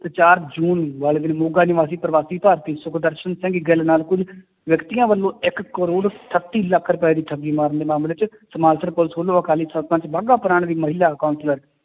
ਤੇ ਚਾਰ ਜੂਨ ਵਾਲੇ ਦਿਨ ਮੋਗਾ ਨਿਵਾਸੀ ਪ੍ਰਵਾਸੀ ਭਾਰਤੀ ਸੁਖਦਰਸ਼ਨ ਸਿੰਘ ਗਿੱਲ ਨਾਲ ਕੁੱਝ ਵਿਅਕਤੀਆਂ ਵੱਲੋਂ ਇੱਕ ਕਰੌੜ ਅਠੱਤੀ ਲੱਖ ਰੁਪਏ ਦੀ ਠੱਗੀ ਮਾਰਨ ਦੇ ਮਾਮਲੇ ਚ ਪੁਲਿਸ ਵੱਲੋਂ ਅਕਾਲੀ ਸਰਪੰਚ ਬਾਗਾ ਪੁਰਾਣ ਦੀ ਮਹਿਲਾ counselor